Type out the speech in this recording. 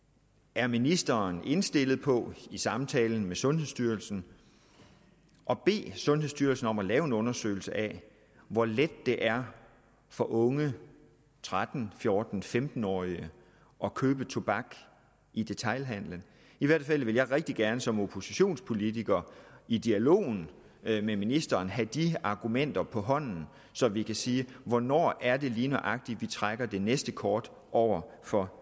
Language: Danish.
er ministeren indstillet på i samtalen med sundhedsstyrelsen at bede sundhedsstyrelsen om at lave en undersøgelse af hvor let det er for unge tretten 14 femten årige at købe tobak i detailhandelen i hvert fald vil jeg rigtig gerne som oppositionspolitiker i dialogen med ministeren have de argumenter på hånden så vi kan sige hvornår er det lige nøjagtig vi trækker det næste kort over for